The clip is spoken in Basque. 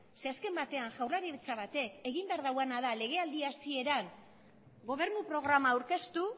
zeren eta azken batean jaurlaritzak batek egin behar duena da legealdia hasiera gobernu programa aurkeztu